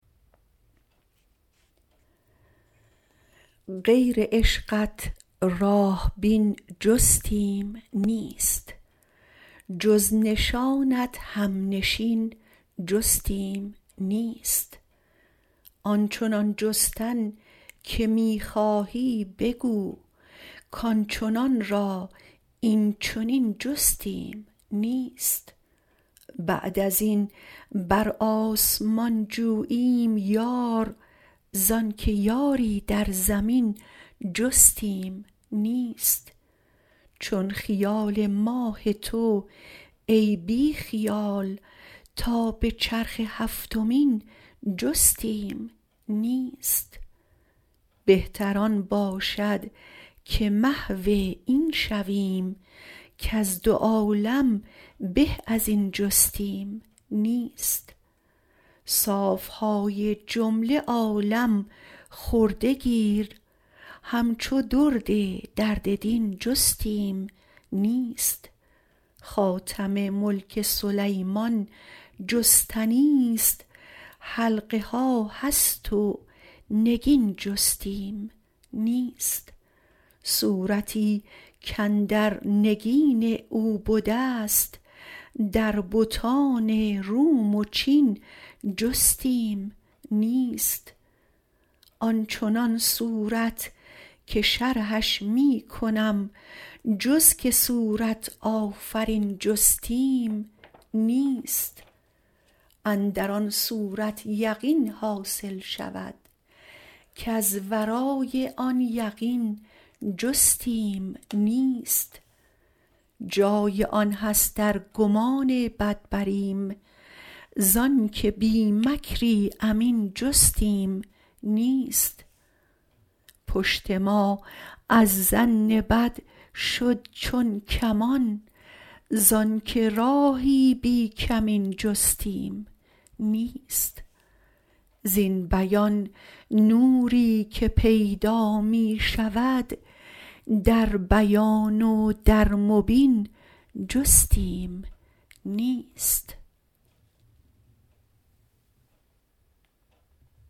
غیر عشقت راه بین جستیم نیست جز نشانت همنشین جستیم نیست آن چنان جستن که می خواهی بگو کان چنان را این چنین جستیم نیست بعد از این بر آسمان جوییم یار زانک یاری در زمین جستیم نیست چون خیال ماه تو ای بی خیال تا به چرخ هفتمین جستیم نیست بهتر آن باشد که محو این شویم کز دو عالم به از این جستیم نیست صاف های جمله عالم خورده گیر همچو درد درد دین جستیم نیست خاتم ملک سلیمان جستنیست حلقه ها هست و نگین جستیم نیست صورتی کاندر نگین او بدست در بتان روم و چین جستیم نیست آن چنان صورت که شرحش می کنم جز که صورت آفرین جستیم نیست اندر آن صورت یقین حاصل شود کز ورای آن یقین جستیم نیست جای آن هست ار گمان بد بریم ز آنک بی مکری امین جستیم نیست پشت ما از ظن بد شد چون کمان زانک راهی بی کمین جستیم نیست زین بیان نوری که پیدا می شود در بیان و در مبین جستیم نیست